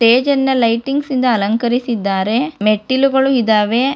ಸ್ಟೇಜನ್ನ lightings ಇಂದ ಅಲಂಕರಿಸಿದ್ದಾರೆ ಮೆಟ್ಟಿಲುಗಳು ಇದ್ದಾವೆ.